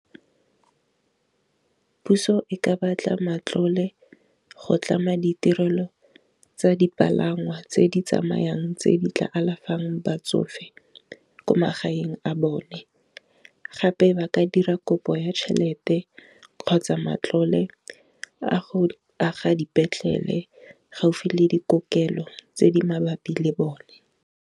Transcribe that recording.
Puso e ka batla matlole go tlama ditirelo tsa dipalangwa tse di tsamayang tse di tla alafang batsofe ko magaeng a bone, gape ba ka dira kopo ya tšhelete kgotsa matlole a go aga dipetlele gaufi le dikokelo tse di mabapi le bone.